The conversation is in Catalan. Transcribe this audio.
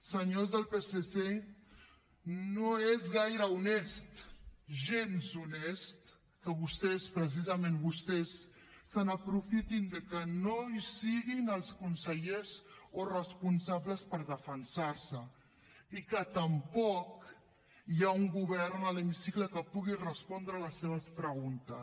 senyors del psc no és gaire honest gens honest que vostès precisament vostès s’aprofitin de que no hi siguin els consellers o responsables per defensar se i que tampoc hi hagi un govern a l’hemicicle que pugui respondre les seves preguntes